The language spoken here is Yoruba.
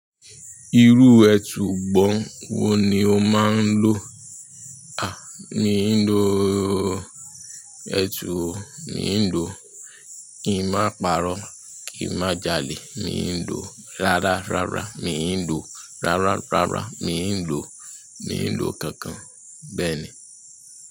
Irú ètù gbọ̀n wo ni o máa ń lò? A, mi ń lò ètù o mi ń lò "kí n má parọ́, kí n má jalè, mi ń lò rárá rárá, mi ń lò rárá rárá, mi ń lò, mi ń lò kankan." Bẹ́ẹ̀ ni.